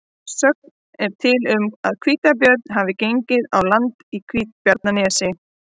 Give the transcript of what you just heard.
Sögn er til um að hvítabjörn hafi gengið á land í Hvítabjarnarnesi.